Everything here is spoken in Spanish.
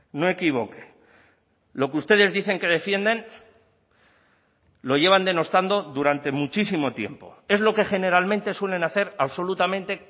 no equivoque lo que ustedes dicen que defienden lo llevan denostando durante muchísimo tiempo es lo que generalmente suelen hacer absolutamente